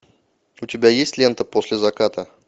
у тебя есть лента после заката